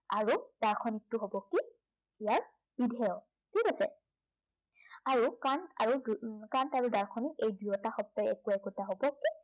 আৰু দাৰ্শনিকটো হব কি ইয়াৰ বিধেয়, ঠিক আছে। আৰু কামটো কাম আৰু দাৰ্শনিক এই দুয়োটা শব্দই একো একোটা